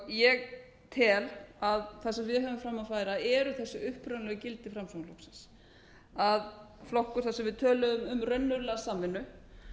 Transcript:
ég tel að það sem við höfum fram að færa eru þessi upprunalegu gildi framsóknarflokksins að flokkur þar sem við töluðum um raunverulega samvinnu